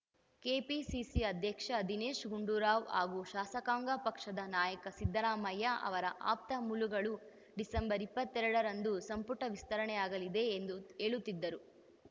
KPCC ಅಧ್ಯಕ್ಷ ದಿನೇಶ್‌ ಗುಂಡೂರಾವ್‌ ಹಾಗೂ ಶಾಸಕಾಂಗ ಪಕ್ಷದ ನಾಯಕ ಸಿದ್ದರಾಮಯ್ಯ ಅವರ ಆಪ್ತ ಮೂಲಗಳು ಡಿಸೆಂಬರ್ ಇಪ್ಪತ್ತೆರಡರಂದು ಸಂಪುಟ ವಿಸ್ತರಣೆಯಾಗಲಿದೆ ಎಂದು ಹೇಳುತ್ತಿದ್ದರೂ